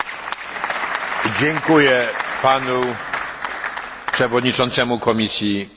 Dziękuję Panu Przewodniczącemu Komisji Europejskiej.